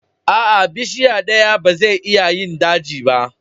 Aa, bishiya daya ba zai iya yin daji ba.